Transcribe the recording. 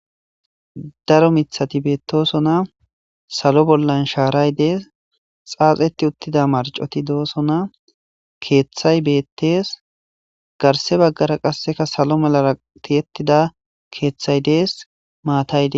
Daaro miththati bettes sallo bolla sharay bettes xaxeti uttida marcoy bettes garsse baggara salo medhdhora tiyetida keththay dess.